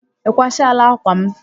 Ị kwachala ákwà m?